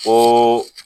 O